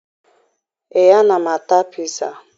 Ee, ana m ata piza